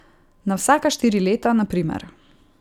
Na vsaka štiri leta, na primer.